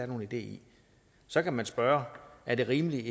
nogen idé i så kan man spørge er det rimeligt